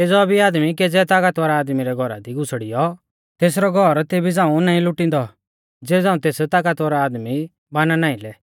केज़ौ भी आदमी केज़ै तागतबर आदमी रै घौरा दी घुसड़ियौ तेसरौ घौर तेभी झ़ांऊ नाईं लुटिंदौ ज़ेबी झ़ांऊ तेस तागतबर आदमी बाना नाईं लै